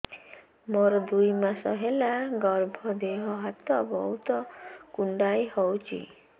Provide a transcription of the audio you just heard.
ମୋର ଦୁଇ ମାସ ହେଲା ଗର୍ଭ ଦେହ ହାତ ବହୁତ କୁଣ୍ଡାଇ ହଉଚି